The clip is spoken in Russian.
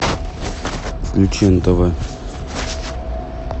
включи нтв